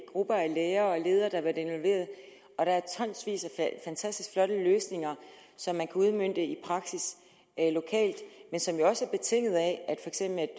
grupper af lærere og ledere der har været involveret og der er tonsvis af fantastisk flotte løsninger som man kan udmønte i praksis lokalt men som jo også er betinget af